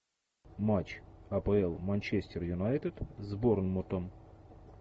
матч апл манчестер юнайтед с борнмутом